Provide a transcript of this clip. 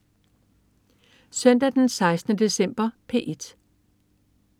Søndag den 16. december - P1: